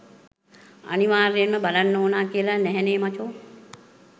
අනිවාර්යයෙන්ම බලන්න ඕනා කියලා නැහැනේ මචෝ.